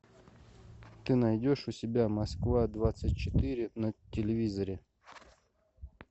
ты найдешь у себя москва двадцать четыре на телевизоре